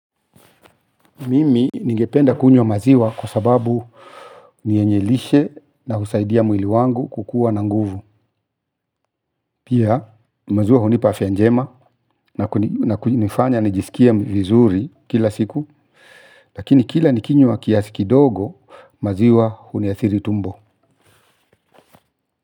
Mimi ningependa kunywa maziwa kwa sababu nienyelishe na husaidia mwili wangu kukua na nguvu. Pia maziwa hunipafia njema na kunifanya nijisikie vizuri kila siku. Lakini kila nikinywa kiasi kidogo maziwa huniathiri tumbo.